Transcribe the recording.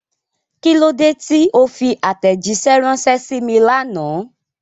kílódé tí o fi àtẹ̀jísẹ́ ránṣẹ sí mi lánàá?